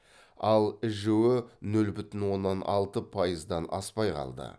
ал іжө нөл бүтін оннан алты пайыздан аспай қалды